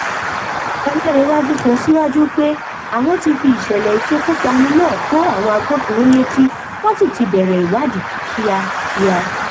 a um gbà pé um a ò ní máa ronú nípa ohun tó ti ṣẹlè sẹyìn ṣùgbón a máa kékòó látinú rè